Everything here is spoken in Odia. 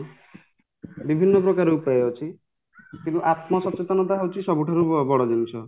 ବିଭିନ୍ନ ପ୍ରକାର ଉପାୟ ଅଛି କିନ୍ତୁ ଆତ୍ମସଚେତନା ହଉଚି ସବୁଠାରୁ ବଡ ଜିନିଷ